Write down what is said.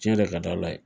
Tiɲɛ de ka d' ala ye